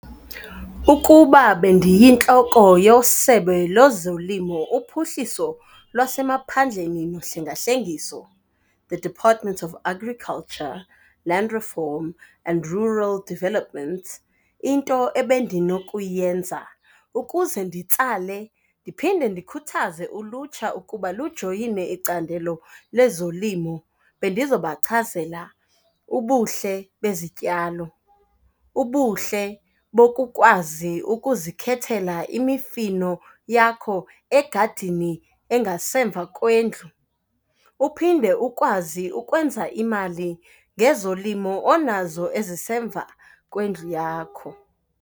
Ukuba bendiyintloko yeSebe lezoLimo, uPhuhliso lwaseMaphandleni noHlengahlengiso, the Department of Agriculture, Land Reform, and Rural Developments, into ebendinokuyenza ukuze nditsale ndiphinde ndikhuthaze ulutsha ukuba lujoyine icandelo lezolimo, bendizobachazela ubuhle bezityalo, ubuhle bokukwazi ukuzikhethela imifino yakho egadini engasemva kwendlu. Uphinde ukwazi ukwenza imali ngezolimo onazo ezisemva kwendlu yakho.